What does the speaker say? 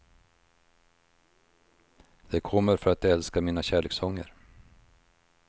De kommer för att de älskar mina kärlekssånger.